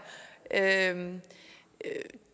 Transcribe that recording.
jamen